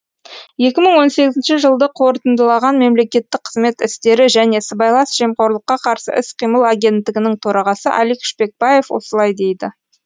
екі мың он сегізінші жылды қорытындылаған мемлекеттік қызмет істері және сыбайлас жемқорлыққа қарсы іс қимыл агенттігінің төрағасы алик шпекбаев осылай дейді